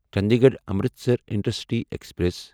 Chandigarh Amritsar intercity express